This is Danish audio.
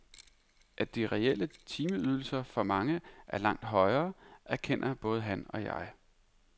At de reelle timeydelser for mange er langt højere, erkender både han og jeg.